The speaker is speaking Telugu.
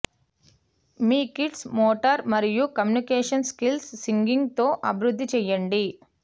మీ కిడ్స్ మోటార్ మరియు కమ్యూనికేషన్ స్కిల్స్ సింగింగ్ తో అభివృద్ధి చేయండి